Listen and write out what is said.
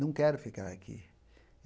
Não quero ficar aqui.